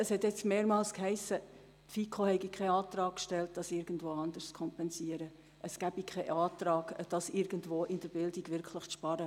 Es wurde mehrmals gesagt, die FiKo habe keinen Antrag gestellt, um das irgendwo sonst zu kompensieren, es gebe keinen Antrag, um den Betrag irgendwo in der Bildung einzusparen.